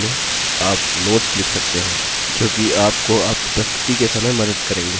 notes view में आप notes लिख सकते हैं जो कि आपको आपकी प्रस्तुति के समय मदद करेंगे